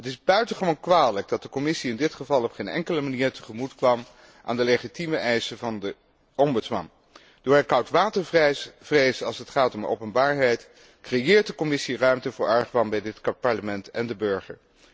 Het is buitengewoon kwalijk dat de Commissie in dit geval op geen enkele manier tegemoetkwam aan de legitieme eisen van de ombudsman. Door koudwatervrees als het gaat om openbaarheid, creëert de Commissie ruimte voor argwaan bij dit Parlement en de burger.